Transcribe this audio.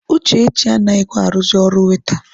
Uchechi anaghịkwa arụzị ọrụ waita.